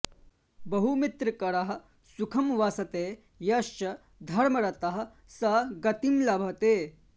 बहुमित्रकरः सुखं वसते यश्च धर्मरतः स गतिं लभते